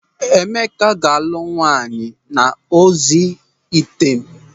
Emeka ga-alụ nwaanyị n'ozi item.